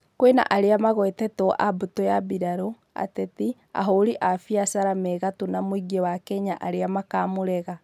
Kwĩna arĩa magwetetwo a mbutũ ya mbirarũ, ateti, ahuri a biashara me gatũ na mũingĩ wa Kenya arĩa makamũrega